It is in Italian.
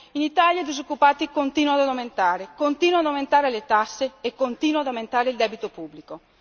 In Italia i disoccupati continuano ad aumentare, continuano ad aumentare le tasse e continua ad aumentare il debito pubblico.